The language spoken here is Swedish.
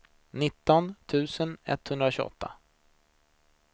nitton tusen etthundratjugoåtta